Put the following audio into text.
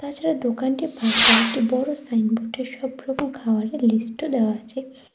এছাড়া দোকানটির পাশে আর একটি বড় সাইনবোর্ডে সব রকম খাবারের লিস্টও দেওয়া আছে।